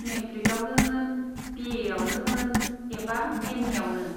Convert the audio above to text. मेट्रिकआवनो होन, बिएआवनो होन एबा एमएआवनो